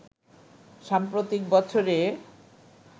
সাম্প্রতিক বছরে